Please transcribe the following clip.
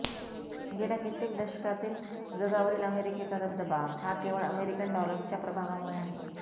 गेल्या कित्येक दशकांतील जगावरील अमेरिकेचा दबदबा हा केवळ अमेरिकन डॉलर्सच्या प्रभावामुळे आहे